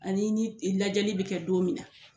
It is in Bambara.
Ani ni lajɛli bɛ kɛ don min na